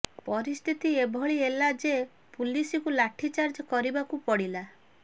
ପରିସ୍ଥିତି ଏପରି ହେଲା ଯେ ପୁଲିସକୁ ଲାଠିଚାର୍ଜ କରିବାକୁ ପଡିଲା